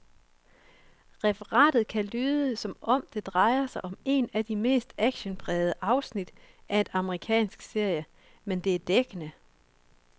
Referatet kan lyde, som om det drejede sig om et af de mest actionprægede afsnit af en amerikansk serie, men det er dækkende.